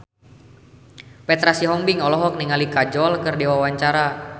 Petra Sihombing olohok ningali Kajol keur diwawancara